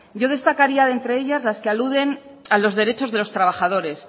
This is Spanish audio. yo destacaría de entre ellas las que aluden a los derechos de los trabajadores